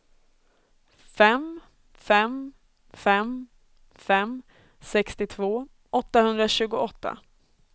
fem fem fem fem sextiotvå åttahundratjugoåtta